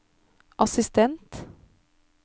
assistent